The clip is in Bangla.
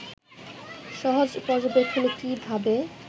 সহজ পর্যবেক্ষণে কী ভাবে